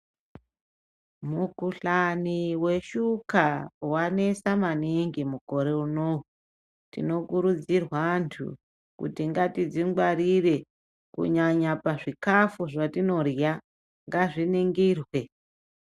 Mukhuhlani weshuka wanesa maningi mukore uno. Tinokuridzirwa anhu kuti ngatidzikwarire kunyanya pazvikafu zvatinorya ngazviningirwe.